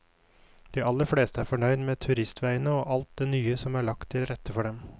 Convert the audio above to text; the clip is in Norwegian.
De aller fleste er fornøyd med turistveiene og alt det nye som er lagt til rette for dem.